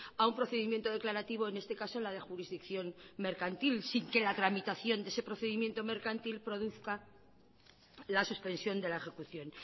a un procedimiento declarativo en este caso la de jurisdicción mercantil sin que la tramitación de ese procedimiento mercantil produzca la suspensión de la ejecución